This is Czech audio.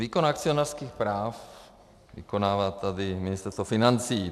Výkon akcionářských práv vykonává tady Ministerstvo financí.